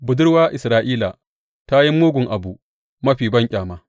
Budurwa Isra’ila ta yi mugun abu mafi banƙyama.